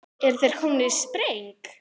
Eru þeir komnir í spreng?